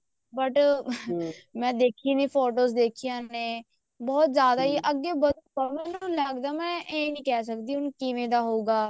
but ਮੈਂ ਦੇਖੀ ਨੀ photos ਦੇਖੀਆਂ ਨੇ ਬਹੁਤ ਜ਼ਿਆਦਾ ਹੀ ਅੱਗੇ ਵਧਣ ਮੈਨੂੰ ਲੱਗਦਾ ਮੈਂ ਏਵੇਂ ਨੀ ਕਿਹ ਸਕਦੀ ਹੁਣ ਕਿਵੇਂ ਦਾ ਹੋਊਗਾ